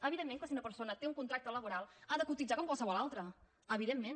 evidentment que si una persona té un contracte laboral ha de cotitzar com qualsevol altra evidentment